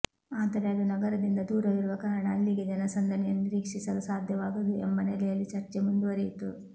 ಆದರೆ ಅದು ನಗರದಿಂದ ದೂರವಿರುವ ಕಾರಣ ಅಲ್ಲಿಗೆ ಜನಸಂದಣಿಯನ್ನು ನಿರೀಕ್ಷಿಸಲು ಸಾಧ್ಯವಾಗದು ಎಂಬ ನೆಲೆಯಲ್ಲಿ ಚರ್ಚೆ ಮುಂದುವರಿಯಿತು